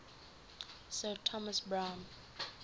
sir thomas browne